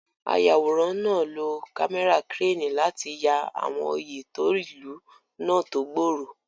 Ayàwòrán náà lo kámẹ́rà kírénì láti ya àwọn oyè tó ìlú náà tó gbòòrò.